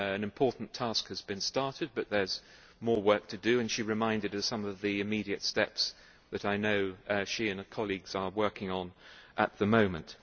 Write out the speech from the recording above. An important task has been started, but there is more work to do, and she reminded us of some of the immediate steps that I know she and her colleagues are working on at the moment.